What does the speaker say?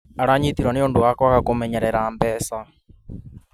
Aranyitirwo nĩũndũ wa kwaga kũmenyerera mbeca